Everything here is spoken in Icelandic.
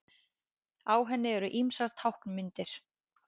Á henni eru ýmsar táknmyndir.